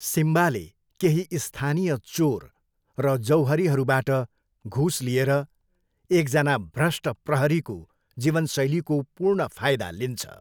सिम्बाले केही स्थानीय चोर र जौहरीहरूबाट घुस लिएर एकजना भ्रष्ट प्रहरीको जीवनशैलीको पूर्ण फाइदा लिन्छ।